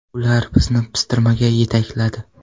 Ular bizni pistirmaga yetakladi.